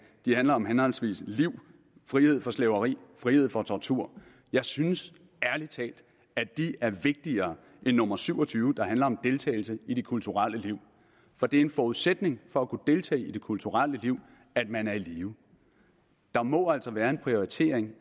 handler om henholdsvis liv frihed fra slaveri og frihed for tortur jeg synes ærlig talt at de er vigtigere end nummer syv og tyve der handler om deltagelse i det kulturelle liv for det er en forudsætning for at kunne deltage i det kulturelle liv at man er i live der må altså være en prioritering